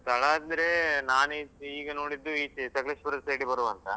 ಸ್ಥಳ ಅಂದ್ರೆ, ನಾನ್ ಈಗ ನೋಡಿದ್ದು ಈಚೆ ಸಕ್ಲೇಶ್ಪುರ side ಬರುವಾಂತ.